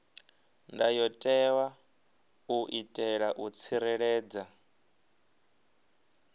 ndayotewa u itela u tsireledza